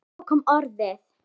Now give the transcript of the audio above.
Og svo kom orðið